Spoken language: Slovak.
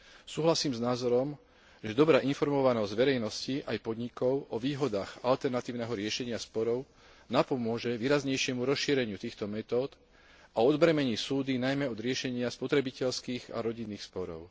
Súhlasím s názorom, že dobrá informovanosť verejnosti aj podnikov o výhodách alternatívneho riešenia sporov napomôže výraznejšie rozšírenie týchto metód a odbremení súdy najmä od riešenia spotrebiteľských a rodinných sporov.